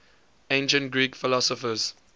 ancient greek philosophers